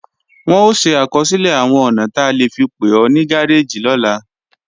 Wọn ó ṣe àkọsílẹ̀ àwọn ọ̀nà ta lè fi pè ó ní gáréèjì lọ́la